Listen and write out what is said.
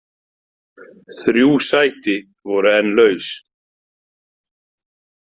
Þrjú sæti voru enn laus.